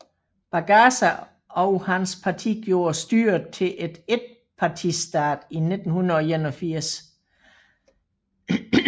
Bagaza og hans parti gjorde styret til et etpartistat i 1981